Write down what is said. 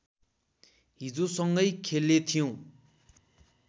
हिजो सँगै खेलेथ्यौं